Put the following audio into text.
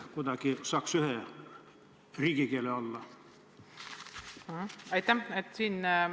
Kuidagi peaks saama riigikeeles õpetamise läbi viia.